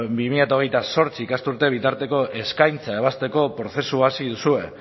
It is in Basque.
bi mila hogeita zortzi ikasturte bitarteko eskaintza ebazteko prozesua hasi duzue